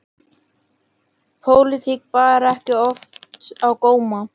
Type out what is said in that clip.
Pólitík bar ekki oft á góma.